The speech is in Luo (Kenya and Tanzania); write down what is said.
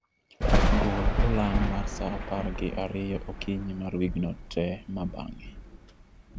gol olang' mar saa apar gi ariyo okinyi mar wigno te ma bang'e